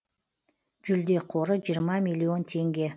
жүлде қоры жиырма миллион теңге